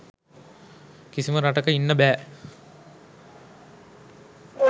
කිසිම රටක ඉන්න බෑ.